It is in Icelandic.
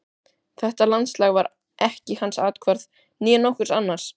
Þetta landslag var ekki hans athvarf, né nokkurs annars.